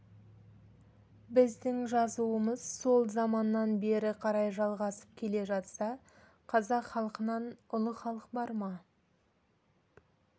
біздің жазуымыз сол заманнан бері қарай жалғасып келе жатса қазақ халқынан ұлы халық бар ма